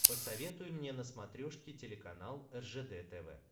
посоветуй мне на смотрешке телеканал ржд тв